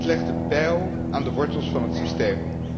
Dat legt de bijl aan de wortels van het systeem.